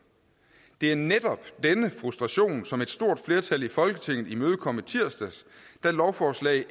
det var netop denne frustration som et stort flertal i folketinget imødekom i tirsdags da lovforslag